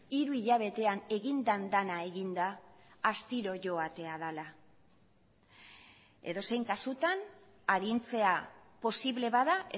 hiru hilabetean egin den dena eginda astiro joatea dela edozein kasutan arintzea posible bada